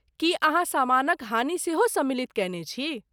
की अहाँ सामानक हानि सेहो सम्मिलित कयने छी?